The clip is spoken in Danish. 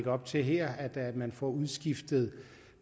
op til her at man får udskiftet